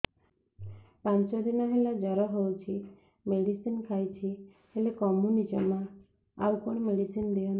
ପାଞ୍ଚ ଦିନ ହେଲା ଜର ହଉଛି ମେଡିସିନ ଖାଇଛି ହେଲେ କମୁନି ଜମା ଆଉ କଣ ମେଡ଼ିସିନ ଦିଅନ୍ତୁ